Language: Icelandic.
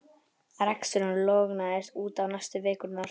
Reksturinn lognaðist út af næstu vikurnar.